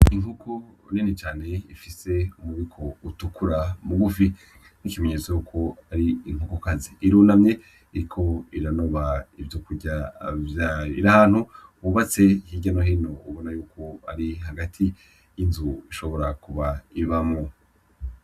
Inkoko nini cane ifise umubiko utukura mugufi nk'ikumenyesto yuko ar'inkokokazi rero irunamye iriko iranoba ivyokurya vyayo, iri ahantu hubatse hirya no hino ubona ko ari hagati y'inzu ishobora kuba ibamwo .